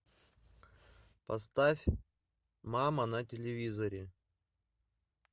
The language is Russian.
поставь мама на телевизоре